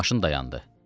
Maşın dayandı.